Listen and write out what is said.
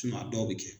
a dɔw bɛ kɛ